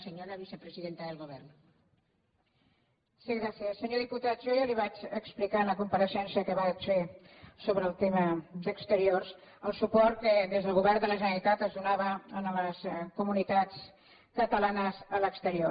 senyor diputat jo ja li vaig explicar en la compareixença que vaig fer sobre el tema d’exteriors el suport que des del govern de la generalitat es donava a les comunitats catalanes a l’exterior